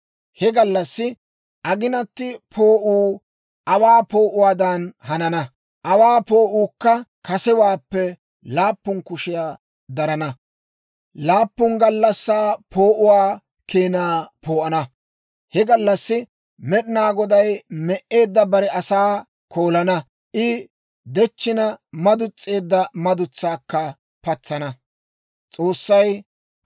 He gallassi aginatti poo'uu aawaa poo'uwaadan hanana; aawaa poo'uukka kasewaappe laappun kushiyaa darana; laappun gallassaa poo'uwaa keenaa poo'ana. He gallassi Med'inaa Goday me"eedda bare asaa koolana; I dechchina madus'eedda madutsaakka patsana.